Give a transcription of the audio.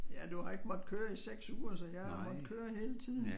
Ja du har ikke måtte køre i 6 uger så jeg har måtte køre hele tiden